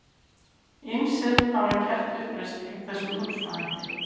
Ýmsir hafa gert uppreisn gegn þessum hugsunarhætti.